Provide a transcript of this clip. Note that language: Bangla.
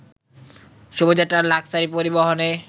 শুভযাত্রার লাক্সারি পরিবহনে